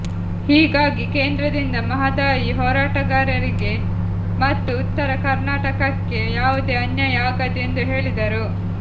ಹೀಗಾಗಿ ಕೇಂದ್ರದಿಂದ ಮಹದಾಯಿ ಹೋರಾಟಗಾರರಿಗೆ ಮತ್ತು ಉತ್ತರ ಕರ್ನಾಟಕಕ್ಕೆ ಯಾವುದೇ ಅನ್ಯಾಯ ಆಗದು ಎಂದು ಹೇಳಿದರು